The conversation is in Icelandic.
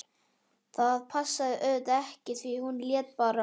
Það passaði auðvitað ekki því hún hét bara